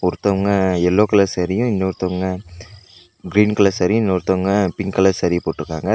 ஒருத்தவுங்க yellow colour சாரீயு இன்னொருத்தவுங்க கிரீன் கலர் சாரியு இன்னொருத்தவுங்க பிங்க் கலர் சாரியு போட்ருக்காங்க ரெண்--.